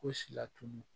Ko si latunu